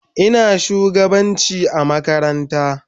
Ina shugabanci makaranta.